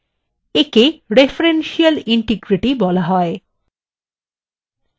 একে referential integrity বলা হয়